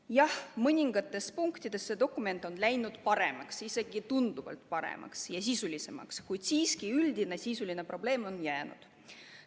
Jah, mõningates punktides on see dokument läinud paremaks, isegi tunduvalt paremaks ja sisulisemaks, kuid üldine sisuline probleem on siiski jäänud.